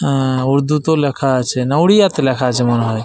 আহঃ উর্দু তেওঁ লেখা আছে না উড়িয়া তে লেখা আছে মনে হয় ।